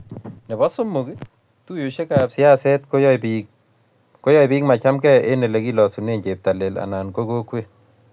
nebo somok, tuiyoshekab siaset koyae biik machamegei eng olegilosune cheptailel anan ko kokwet